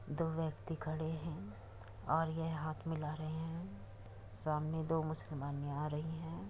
दो व्यक्ति खड़े हैं। और ये हाथ मिला रहें हैं। सामने दो मुस्लमाने आ रही हैं।